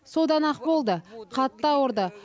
содан ақ болды қатты ауырды